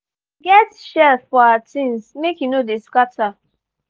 we get shelf for our things make e no dey scatter